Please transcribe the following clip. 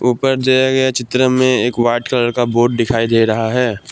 ऊपर दिया गया चित्र में एक वाइट कलर का बोर्ड दिखाई दे रहा है।